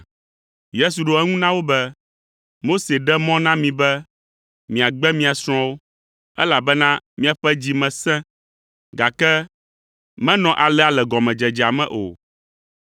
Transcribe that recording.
Yesu ɖo eŋu na wo be, “Mose ɖe mɔ na mi be miagbe mia srɔ̃wo, elabena miaƒe dzi me sẽ, gake menɔ alea le gɔmedzedzea me o,